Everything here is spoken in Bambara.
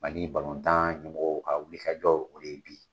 Mali ɲɛmɔgɔw ka wulikajɔw o de ye bi ye.